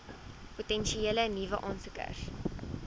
potensiële nuwe aansoekers